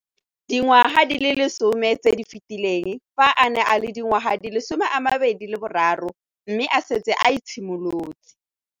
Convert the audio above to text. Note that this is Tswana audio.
Dingwaga di le 10 tse di fetileng, fa a ne a le dingwaga di le 23 mme a setse a itshimoletse